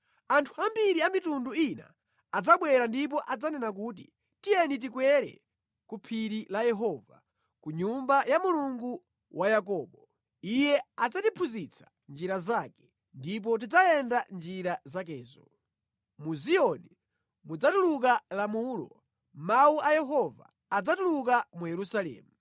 Anthu ambiri adzabwera ndikunena kuti, “Tiyeni tikwere ku phiri la Yehova, ku nyumba ya Mulungu wa Yakobo. Iye adzatiphunzitsa njira zake, ndipo tidzayenda mʼnjira zakezo.” Malangizo adzachokera ku Ziyoni, mawu a Yehova adzachokera ku Yerusalemu.